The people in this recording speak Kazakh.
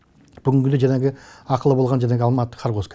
бүгінгідей жаңағы ақылы болған жаңағы алматы хоргоск